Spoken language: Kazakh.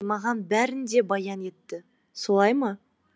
мери маған бәрін де баян етті солай ма